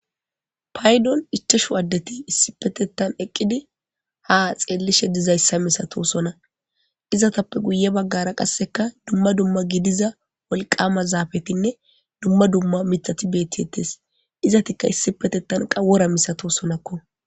paydon ichashu addeti issi petettan eqqidi ha xeellishe dizayssa misato sona izatappe guye baggara qasseka dumma dumma gidiza wolqama zaafetinne dumma dumma mithati betiettes izatikka issi petettan qawora misato sonakko